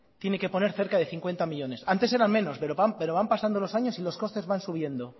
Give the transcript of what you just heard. tiene que poner cerca de cincuenta millónes antes eran menos pero van pasando los años y los costes van subiendo